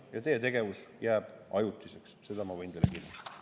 Ja teie tegevus jääb ajutiseks, seda ma võin teile kinnitada.